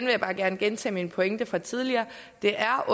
vil bare gerne gentage min pointe fra tidligere det er